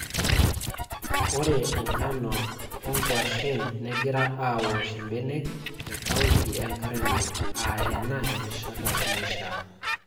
Ore enkano o nkuashen negira aawosh mbenek te kaunti enkare Narok aa ena erishata naishiaa.